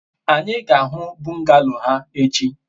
anyi ga-ahu bungalow ha echi